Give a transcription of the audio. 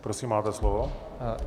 Prosím, máte slovo.